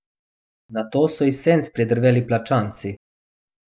Nato so iz senc pridrveli plačanci.